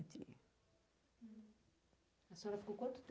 Tinha. A senhora ficou quanto